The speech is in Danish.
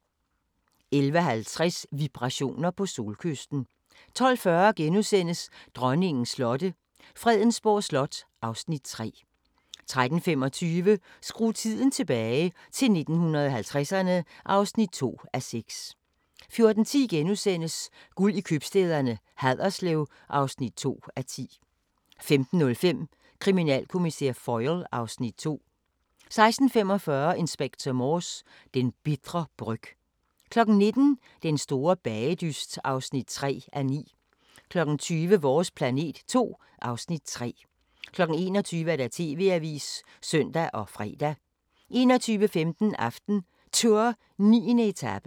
11:50: Vibrationer på Solkysten 12:40: Dronningens slotte – Fredensborg Slot (Afs. 3)* 13:25: Skru tiden tilbage – til 1950'erne (2:6) 14:10: Guld i købstæderne - Haderslev (2:10)* 15:05: Kriminalkommissær Foyle (Afs. 2) 16:45: Inspector Morse: Den bitre bryg 19:00: Den store bagedyst (3:9) 20:00: Vores Planet 2 (Afs. 3) 21:00: TV-avisen (søn og fre) 21:15: AftenTour: 9. etape